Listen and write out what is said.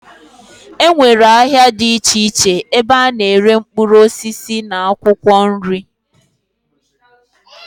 E nwere ahịa dị iche iche ebe a na-ere mkpụrụ osisi na akwụkwọ nri.